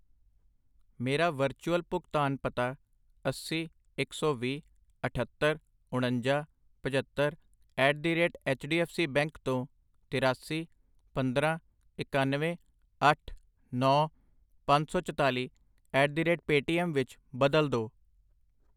ਮੇਰਾ ਵਰਚੁਅਲ ਭੁਗਤਾਨ ਪਤਾ ਅੱਸੀ, ਇੱਕ ਸੌ ਵੀਹ, ਅਠੱਤਰ, ਉਣੰਜਾ, ਪਝੱਤਰ at the rate H D F C bank ਤੋਂ ਤਰਾਸੀ, ਪੰਦਰਾਂ, ਇਕਾਨਵੇਂ, ਅੱਠ, ਨੌਂ, ਪੰਜ ਸੌ ਚਤਾਲੀ ਐਟ ਦ ਰੇਟ ਪੇਟੀਐੱਮ ਵਿੱਚ ਬਦਲੋ ਦੋ I